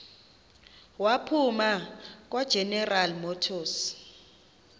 waphuma kwageneral motors